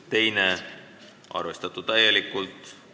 Teine muudatusettepanek on arvestatud täielikult.